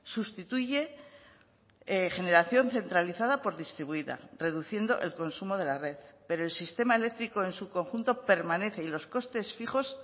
sustituye generación centralizada por distribuida reduciendo el consumo de la red pero el sistema eléctrico en su conjunto permanece y los costes fijos